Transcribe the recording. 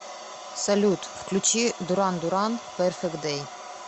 салют включи дуран дуран перфект дэй